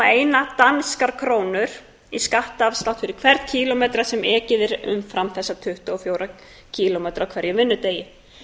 eina danskar krónur í skattafslátt fyrir hvern kílómetra sem ekið er umfram tuttugu og fjóra kílómetra á hverjum vinnudegi